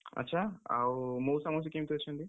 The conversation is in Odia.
ଆଚ୍ଛା! ଆଉ ମଉସା ମାଉସୀ କେମିତି ଅଛନ୍ତି?